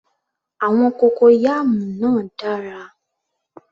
Àwọn cocoyam náà dára